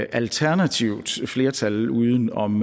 alternativt flertal uden om